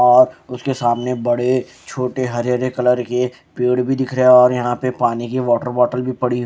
और उसके सामने बड़े छोटे हरे हरे कलर के पेड़ भी दिख रहे हैं और यहां पे पानी की वाटर बाॅटल भी पड़ी--